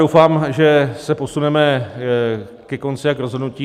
Doufám, že se posuneme ke konci a k rozhodnutí.